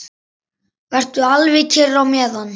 Vertu alveg kyrr á meðan.